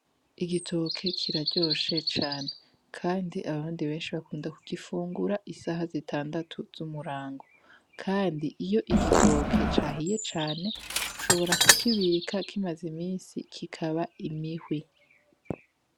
Igitoke kiraryoshe cane kandi abandi benshi barakunda kugifungura isaha zitandatu z'umurango. Kandi iyo igitoke cahiye cane, ushobora kukibika kimaze iminsi kikaba imihwi.